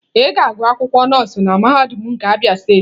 Ị ga-agụ akwụkwọ nọọsụ na mahadum nke Abia steeti.